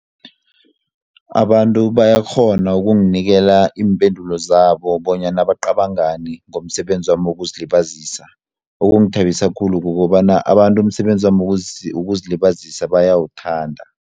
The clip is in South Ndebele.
Abantu bayakghona ukunginikela iimpendulo zabo bonyana bacabangani ngomsebenzi wami wokuzilibazisa okungithabisa khulu kukobana abantu umsebenzi wami wokuzilibazisa bayawuthanda.